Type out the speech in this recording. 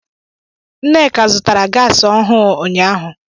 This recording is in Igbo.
Nneka zụtara gaasi ọhụụ ụnyaahụ.